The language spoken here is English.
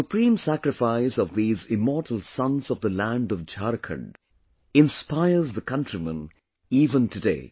The supreme sacrifice of these immortal sons of the land of Jharkhand inspires the countrymen even today